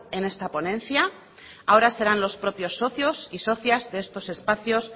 en esta ponencia ahora serán los propios socios y socias de estos espacios